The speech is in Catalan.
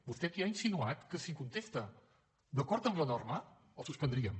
vostè aquí ha insinuat que si contesta d’acord amb la norma el suspendríem